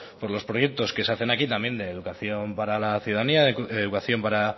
por los proyectos que se hacen aquí también de educación para la ciudadanía educación para